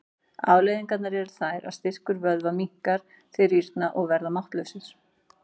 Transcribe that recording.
Afleiðingarnar eru þær að styrkur vöðva minnkar, þeir rýrna og verða máttlausir.